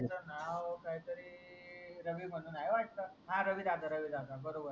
त्याच नाव काही तरी रवी म्हणून आहे वाट हा रवी दादा रवी दादा बरोबर